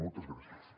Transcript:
moltes gràcies